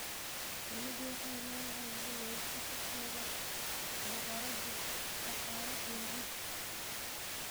Shinnidu waxay leedahay gumeysi ka kooban boqorado, shaqaale iyo rag.